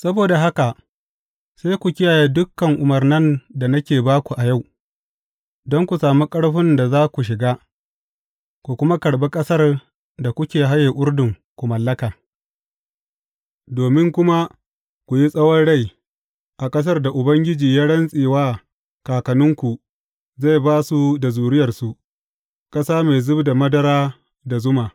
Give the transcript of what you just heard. Saboda haka sai ku kiyaye dukan umarnan da nake ba ku a yau, don ku sami ƙarfin da za ku shiga, ku kuma karɓi ƙasar da kuke haye Urdun ku mallaka, domin kuma ku yi tsawon rai a ƙasar da Ubangiji ya rantse wa kakanninku zai ba su da zuriyarsu, ƙasa mai zub da madara da zuma.